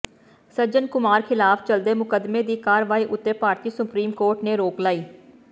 ਸੱਜਣ ਕੁਮਾਰ ਖਿਲਾਫ ਚੱਲਦੇ ਮੁਕਦਮੇਂ ਦੀ ਕਾਰਵਾਈ ਉਤੇ ਭਾਰਤੀ ਸੁਪਰੀਮ ਕੋਰਟ ਨੇ ਰੋਕ ਲਾਈ